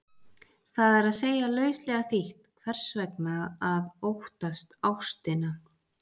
Það er að segja, lauslega þýtt, hvers vegna að óttast ástina?